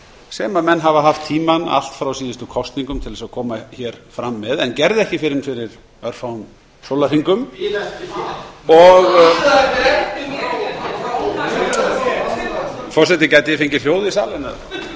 sem menn hafa haft tímann allt frá síðustu kosningum til að koma fram með en gerðu ekki fyrr en fyrir örfáum sólarhringum forseti gæti ég fengið hljóð í salinn